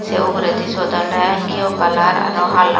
te ugure di sot ole gee o kalar aro hala.